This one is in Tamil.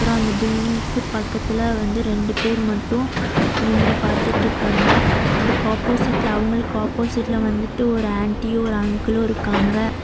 அப்பறம் அந்த பில்டிங்கு பக்கத்துல வந்து ரெண்டு பேர் மட்டும் நின்னு பார்த்துட்டு இருக்காங்க அதுக்கு ஆப்போசிட்ல அவங்களுக்கு ஆப்போசிட்ல வந்துட்டு ஒரு ஆன்ட்டியு ஒரு அங்குலு இருக்காங்க.